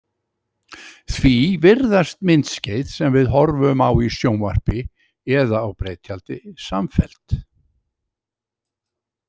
Því virðast myndskeið sem við horfum á í sjónvarpi eða á breiðtjaldi samfelld.